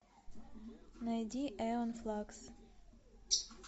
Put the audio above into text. найди эон флакс